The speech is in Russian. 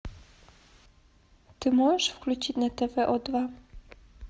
ты можешь включить на тв о два